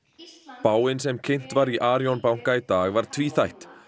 spáin sem kynnt var í Arion banka í dag var tvíþætt